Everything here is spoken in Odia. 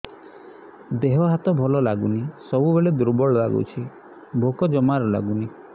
ଦେହ ହାତ ଭଲ ଲାଗୁନି ସବୁବେଳେ ଦୁର୍ବଳ ଲାଗୁଛି ଭୋକ ଜମାରୁ ଲାଗୁନି